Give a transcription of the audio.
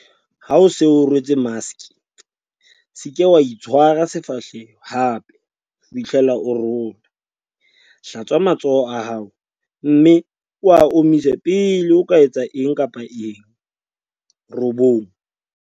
Ha o se o rwetse maske, SE KA ITSHWARA SEFAHLEHO hape ho fihlela o rola. Hlatswa matsoho a hao mme o a omise pele o etsa eng kapa eng 9.